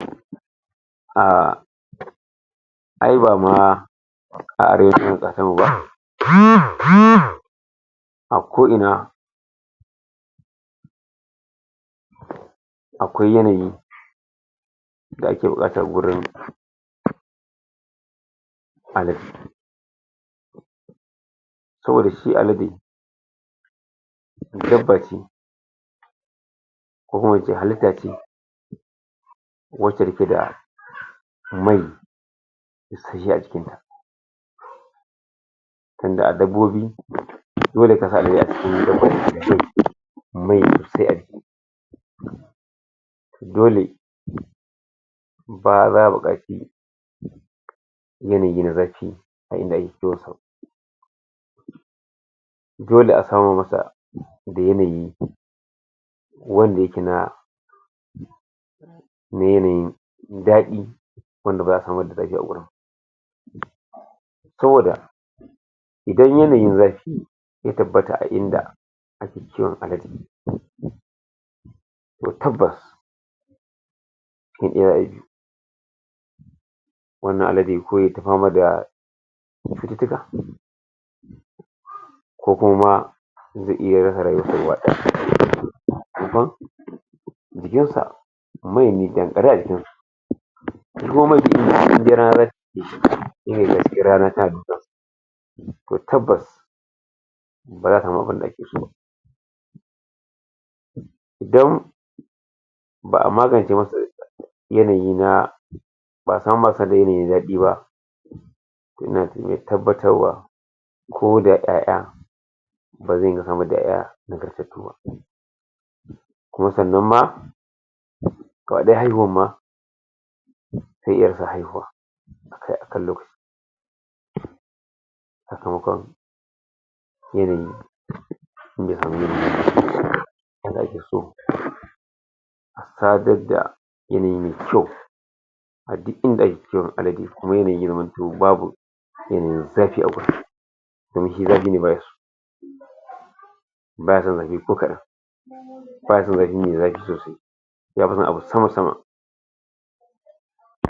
A ai ba ma A ko ina akwai yanayi da ake bukata wurin ala saboda shi alade dabba ce ko kuma ince halita ce wace yake da mai a jikin ta. a dabbobi, mai sosai a jiki dole yanayi na zafi a inda ake kiwon sa. dole a samo masa da yanayi wanda yake na na yanayin dadi wanda baza a san saboda idan yanayin zafi ya tabbata a inda ake kiwon alade toh tabbas wannan alade kawai ta pama da ko kuma sa mai ne dankare a jikin su toh tabbas baza a samu abun da ake so ba don ba a magance masa yanayi na yayi dadi ba tabbtar wa ko da iyaiya baze kuma sannan ma ma haihuwa akai akan lokaci yanayi yadda ake so sadar da yanayi me kyau a duk inda ake kiwon alade kuma yanayin babu ko kadan me zafi sosai baya son zafi ko kaɗan yafinson abu sama sama